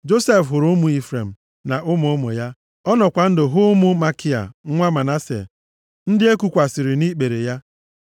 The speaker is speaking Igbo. Josef hụrụ ụmụ Ifrem, na ụmụ ụmụ ya. Ọ nọkwa ndụ hụ ụmụ Makia nwa Manase, ndị e kukwasịrị nʼikpere ya.